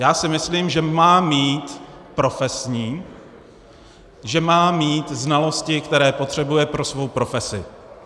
Já si myslím, že má mít profesní, že má mít znalosti, které potřebuje pro svou profesi.